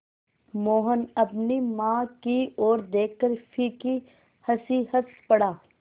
मोहन अपनी माँ की ओर देखकर फीकी हँसी हँस पड़ा